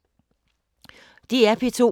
DR P2